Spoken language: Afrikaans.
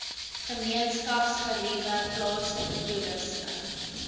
gemeenskapsgeriewe plaaslike toerisme